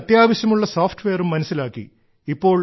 തനിക്ക് അത്യാവശ്യമുള്ള സോഫ്റ്റ്വെയറും മനസ്സിലാക്കി